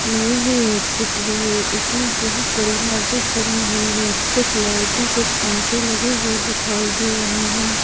येह एक चित्र है इसमें बहुत बड़ी मस्जिद बनी हुई है कुछ लाइटें कुछ पंखे लगे हुए दिखाई दे रहे है।